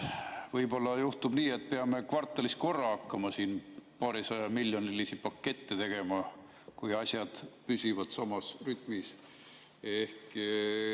Võib-olla juhtub nii, et peame kvartalis korra hakkama siin paarisajamiljonilisi pakette tegema, kui asjad püsivad samas rütmis.